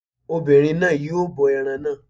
Obìnrin náà yóò bọ ẹran náà